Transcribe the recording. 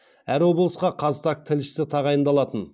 әр облысқа қазтаг тілшісі тағайындалатын